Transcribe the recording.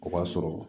O b'a sɔrɔ